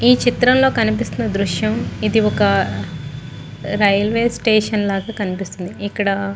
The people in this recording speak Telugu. ఈ చిత్రం లో కనిపిస్తున్న దృశ్యం ఇది ఒక రైల్వే స్టేషన్ లాగా కనిపిస్తుంది. ఇక్కడ --